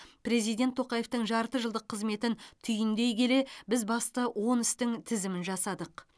президент тоқаевтың жарты жылдық қызметін түйіндей келе біз басты он істің тізімін жасадық